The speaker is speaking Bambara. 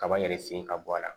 Kaba in yɛrɛ sen ka bɔ a la